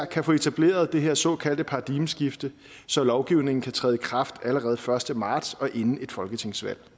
kan få etableret det her såkaldte paradigmeskifte så lovgivningen kan træde i kraft allerede den første marts og inden et folketingsvalg